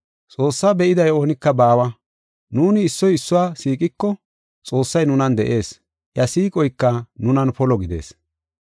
Xoossaa be7iday oonika baawa. Nuuni issoy issuwa siiqiko Xoossay nunan de7ees; iya siiqoyka nunan polo gidees.